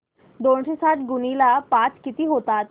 दोनशे साठ गुणिले पाच किती होतात